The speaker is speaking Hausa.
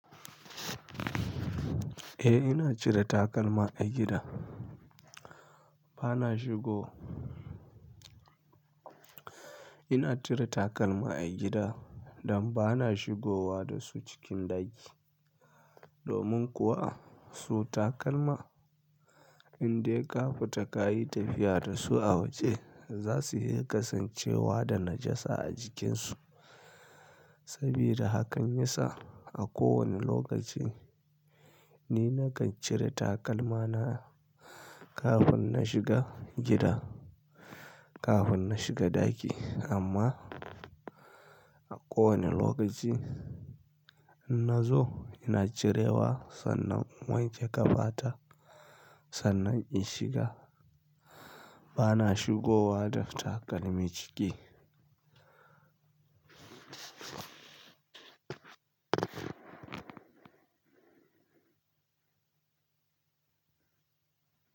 Eh ina cire takalma a gida. Bana shigo. Ina cire takalma a gida don bana shigowa da su cikin ɗaki. Domin kuwa su takalma in dai ka fita ka yi tafiya da su a waje za su iya kasancewa da najasa a jikinsu. Sabida hakan ya sa a kowane lokaci ni nakan cire takalmana kafin na shiga gida, kafin na shiga ɗaki. Amma a kowane lokaci nazo ina cirewa sannan in wanke kafa ta sannan in shiga. Bana shigowa da takalmi ciki.